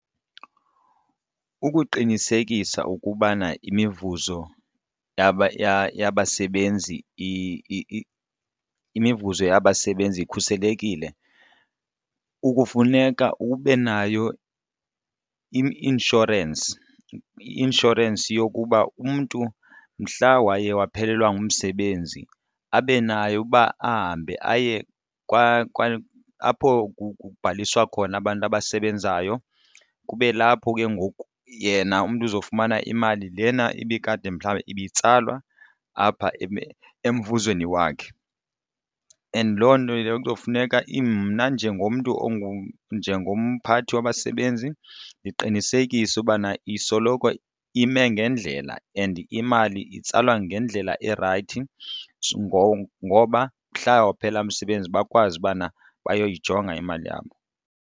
Ukuqinisekisa ukubana imivuzo yabasebenzi imivuzo yabasebenzi ikhuselekile ukufuneka ube nayo i-inshorensi. I-inshorensi yokuba umntu mhla waye waphelelwa ngumsebenzi abe nayo uba ahambe aye apho kubhaliswa khona abantu abasebenzayo kube lapho ke ngoku yena umntu uzofumana imali lena ibikade mhlawumbe ibitsalwa apha emvuzweni wakhe. And loo nto yile izokufuneka mna njengomntu njengomphathi wabasebenzi ndiqinisekise ukubana isoloko ime ngendlela and imali itsalwa ngendlela erayithi ngoba mhla waphela umsebenzi bakwazi ubana bayayijonga imali yabo.